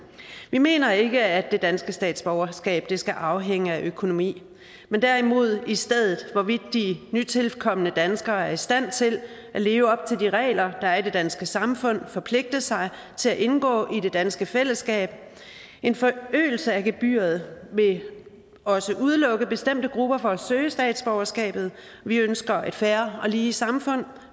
vi mener ikke at det danske statsborgerskab skal afhænge af økonomi men derimod i stedet af hvorvidt de nytilkomne danskere er i stand til at leve op til de regler der er i det danske samfund og forpligte sig til at indgå i det danske fællesskab en forøgelse af gebyret vil også udelukke bestemte grupper fra at søge statsborgerskabet vi ønsker et fair og lige samfund